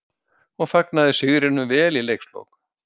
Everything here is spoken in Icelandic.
. og fagnaði sigrinum vel í leikslok.